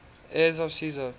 heirs of caesar